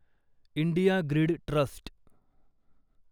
India grid trust